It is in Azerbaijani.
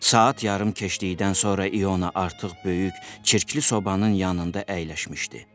Saat yarım keçdikdən sonra İona artıq böyük, çirkli sobanın yanında əyləşmişdi.